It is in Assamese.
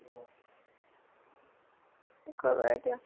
কি কৰিবা এতিয়া ?